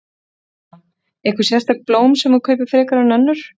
Erla: Einhver sérstök blóm sem að þú kaupir frekar en önnur?